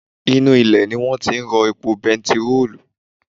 Inú ilẹ̀ ni wọ́n ti ń rí epo bentiróòlù